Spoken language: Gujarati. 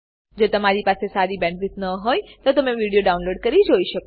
જો તમારી પાસે સારી બેન્ડવિડ્થ ન હોય તો તમે વિડીયો ડાઉનલોડ કરીને જોઈ શકો છો